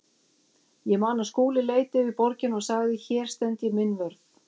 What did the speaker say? Ég man að Skúli leit yfir borgina og sagði: Hér stend ég minn vörð.